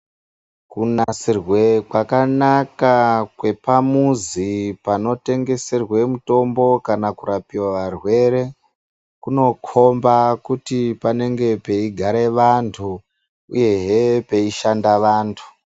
Kunasirwe kwakanaka kwepamuzi panotengeserwa mutombo kana kurapiwa varwere. Kunokomba kuti panenge peigare vantu uyehe peishanda vantu.